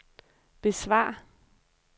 besvar